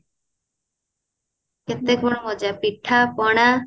କେତେ କଣ ମଜା ପିଠା ପଣା